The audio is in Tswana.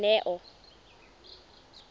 neo